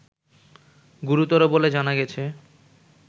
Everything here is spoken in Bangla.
গুরুতর বলে জানা গেছে